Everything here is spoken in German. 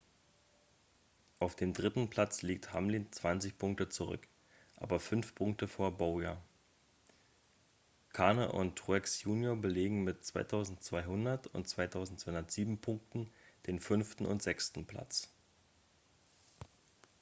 auf dem dritten platz liegt hamlin 20 punkte zurück aber 5 punkte vor bowyer kahne und truex junior belegen mit 2.200 und 2.207 punkten den fünften und sechsten platz